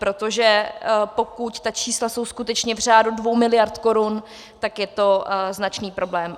Protože pokud ta čísla jsou skutečně v řádu 2 miliard korun, tak je to značný problém.